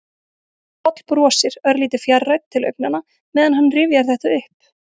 Páll brosir, örlítið fjarrænn til augnanna meðan hann rifjar þetta upp.